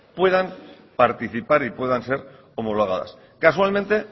puedan participar y puedan ser homologadas casualmente